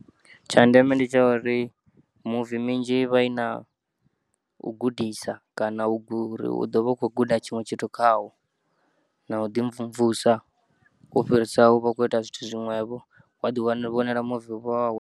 Tsha ndeme ndi tsha uri muvi minzhi ivha ina u gudisa kana ugu uri u ḓovha u khoguda tshiṅwe tshithu khawo na u ḓimvumvusa ufhirisa uvha ukhoita zwithu zwiṅwevho waḓi vhonela muvi wau.